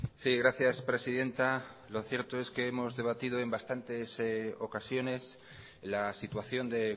sí gracias presidenta lo cierto es que hemos debatido en bastantes ocasiones la situación de